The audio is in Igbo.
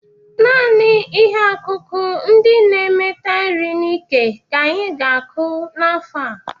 Naanị ihe akụkụ ndị na-emeta nri n'íkè ka anyị ga-akọ n'afọ a.